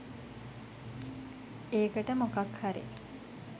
ඒකට මොකක් හරි